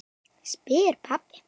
spyr pabbi.